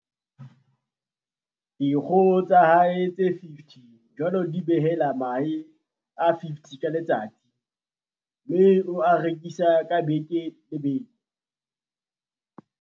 Dikgoho tsa hae tse 50 jwale di behela mahe a 50 ka letsatsi mme o a rekisa ka beke le beke.